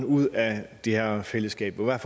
ud af det her fællesskab og hvad